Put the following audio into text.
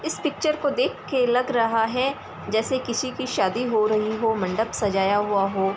इस पिक्चर को देख के लग रहा है जैसे किसी की शादी हो रही हो मंडप सजाया हुआ हो।